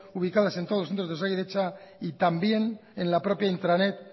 ubicadas en todos los centros de osakidetza y también en la propia intranet